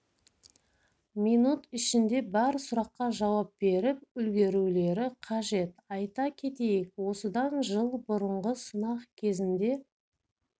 минут ішінде бар сұраққа жауап беріп үлгерулері қажет айта кетейік осыдан жыл бұрынғы сынақ кезінде